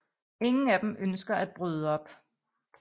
Ingen af dem ønsker at bryde op